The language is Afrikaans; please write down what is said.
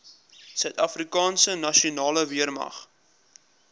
suidafrikaanse nasionale weermag